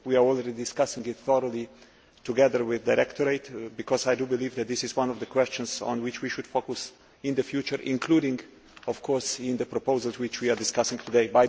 We are already discussing it thoroughly together with the directorate, because I believe that this is one of the questions on which we should focus in the future, including, of course, in the proposals which we are discussing today.